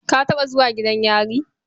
Ka taɓa zuwa gidan yari?